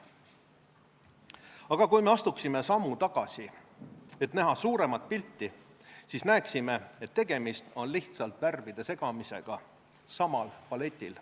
Aga kui me astuksime sammu tagasi, et näha suuremat pilti, siis näeksime, et tegemist on lihtsalt värvide segamisega samal paletil.